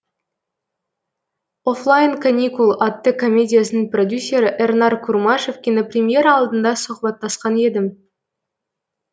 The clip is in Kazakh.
оффлайн каникул атты комедиясының продюсері эрнар курмашев кинопремьера алдында сұхбаттасқан едім